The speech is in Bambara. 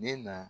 Ne na